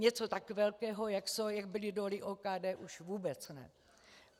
Něco tak velkého, jak byly doly OKD, už vůbec ne.